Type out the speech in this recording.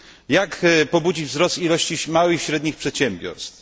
Jak pobudzić wzrost ilości małych i średnich przedsiębiorstw?